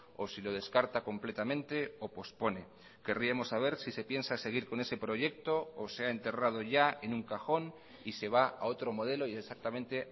o si lo descarta completamente o pospone querríamos saber si se piensa seguir con ese proyecto o se ha enterrado ya en un cajón y se va a otro modelo y exactamente